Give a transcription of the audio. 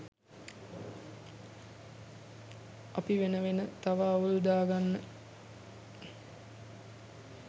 අපි වෙන වෙන තව අවුල් දාගන්න